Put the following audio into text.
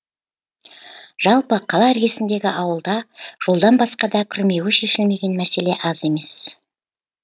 жалпы қала іргесіндегі ауылда жолдан басқа да күрмеуі шешілмеген мәселе аз емес